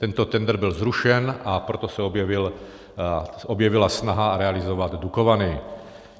Tento tendr byl zrušen, a proto se objevila snaha realizovat Dukovany.